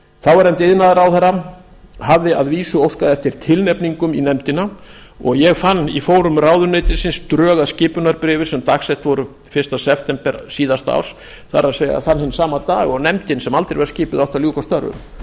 þáverandi iðnaðarráðherra hafði að vísu óskað eftir tilnefningum í nefndina og ég fann í fórum ráðuneytisins drög að skipunarbréfi sem dagsett voru fyrsta september síðasta árs það er þann hinn sama dag og nefndin sem aldrei var skipuð átti að ljúka störfum